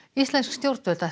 íslensk stjórnvöld ætla